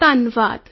phone call ਸਮਾਪਤ